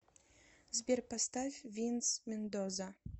сбер поставь винс мендоза